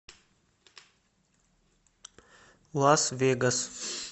лас вегас